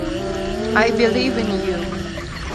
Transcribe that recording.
ай билив ин ю